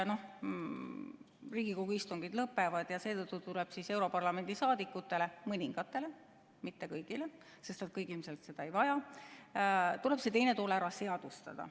Riigikogu istungid lõpevad ja seetõttu tuleb europarlamendi liikmetele – mõningatele, mitte kõigile, sest kõik ilmselt seda ei vaja – teine tool ära seadustada.